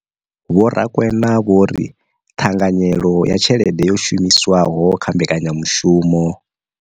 Vho Rakwena vho ri ṱhanganyelo ya tshelede yo shumiswaho kha mbekanyamushumo.